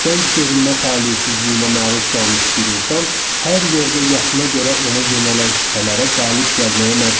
Gənc görünmə taleyəsinə məruz qalmış bir insan hər yerdə yaşına görə ona yönələn şübhələrə qalib gəlməyə məcbur idi.